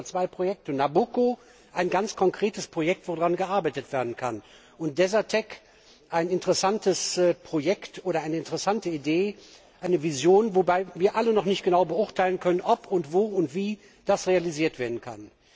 Wir reden heute über zwei Projekte Nabucco, ein ganz konkretes Projekt, an dem gearbeitet werden kann, und Desertec, ein interessantes Projekt oder eine interessante Idee, eine Vision, wobei wir alle noch nicht genau beurteilen können, ob und wo und wie das realisiert werden kann.